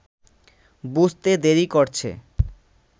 বুঝতে দেরি করছে